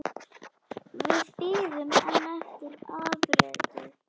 Við bíðum enn eftir afriti.